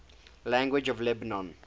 languages of lebanon